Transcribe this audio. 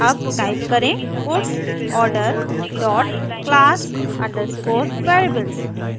अब टाइप करें puts order dot class underscore variables